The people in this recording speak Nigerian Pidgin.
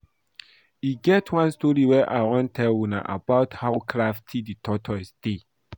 E get one story I wan tell una about how crafty the tortoise dey